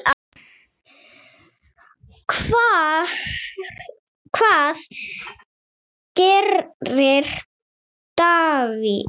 Hvað gerir Davids?